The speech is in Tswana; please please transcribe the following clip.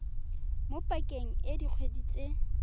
mo pakeng e dikgwedi tse